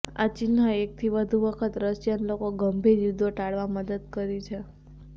આ ચિહ્ન એકથી વધુ વખત રશિયન લોકો ગંભીર યુદ્ધો ટાળવા મદદ કરી છે